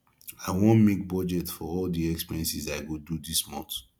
i wan make budget for all the expenses i go do dis month